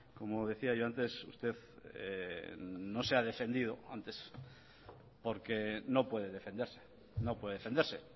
como decía yo antes usted no se ha defendido antes porque no puede defenderse no puede defenderse